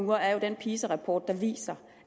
er jo den pisa rapport der viser